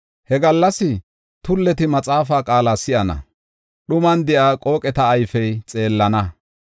He gallas tulleti maxaafaa qaala si7ana; dhuman de7iya qooqeta ayfey xeellana.